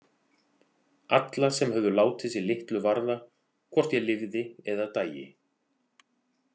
Alla sem höfðu látið sig litlu varða hvort ég lifði eða dæi.